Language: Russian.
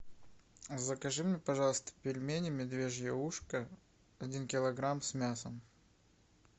закажи мне пожалуйста пельмени медвежье ушко один килограмм с мясом